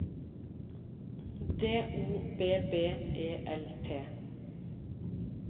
D O B B E L T